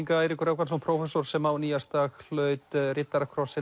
Eiríkur Rögnvaldsson prófessor sem á nýársdag hlaut riddarakross